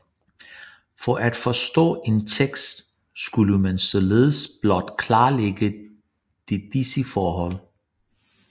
For at forstå en tekst skulle man således blot klarlægge de disse forhold